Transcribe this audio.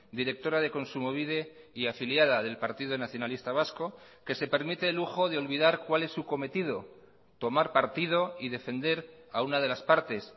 directora de kontsumobide y afiliada del partido nacionalista vasco que se permite el lujo de olvidar cuál es su cometido tomar partido y defender a una de las partes